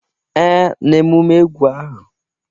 Ee, n'emume egwu ahụ.